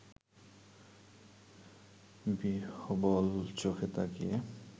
বিহ্বল-চোখে তাকিয়ে